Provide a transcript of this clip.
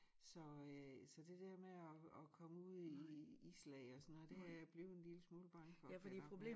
Så øh så det dér med at at komme ud i i i islag det jeg blevet en lille smule bange for kan jeg godt mærke